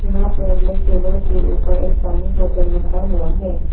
यहां पर black table के ऊपर एक पानी बोतल रखा हुआ है।